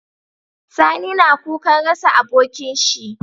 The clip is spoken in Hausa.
Sani na kukan rasa abokin shi